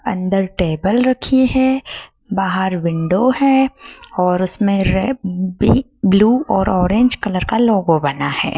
अंदर टेबल रखी है बाहर विंडो है और उसमें भी ब्लू और ऑरेंज कलर का लोगो बना है।